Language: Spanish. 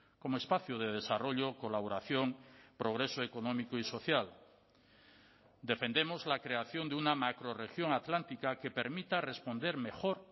como espacio de desarrollo colaboración progreso económico y social defendemos la creación de una macrorregión atlántica que permita responder mejor